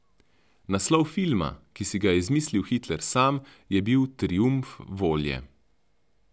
Naslov filma, ki si ga je izmislil Hitler sam, je bil Triumf volje.